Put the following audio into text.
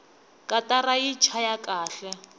katara yi chaya kahle